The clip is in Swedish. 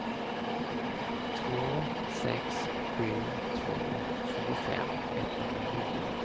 två sex sju två tjugofem etthundranio